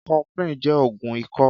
Kọ̀flin jẹ́ ógùn ikọ̀